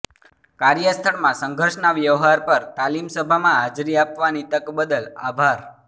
કાર્યસ્થળમાં સંઘર્ષના વ્યવહાર પર તાલીમ સભામાં હાજરી આપવાની તક બદલ આભાર